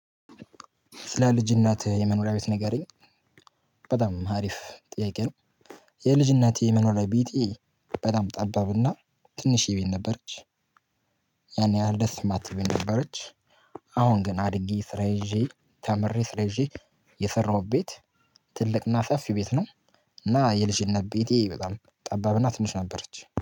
ስለ ልጅነትህ የመኖሪያ ቤት ነገረኝ በጣም አሪፍ ጥያቄ ነው። የልጅነቴ መኖሪያ ቢቴ በጣም ጠባብና ትንሽ ቤት ነበረች። ያን ያህል ደስ የማትል ቤት ነበረች። አሁን ግን አድጌ ስራ ይዤ ተምሬ ስራ ይዤ የሰራሁት ቤት ትልቅና ሰፊ ቤት ነው። እና የልጅነት ቤቴ በጣም ጠባብና ትንሽ ነበረች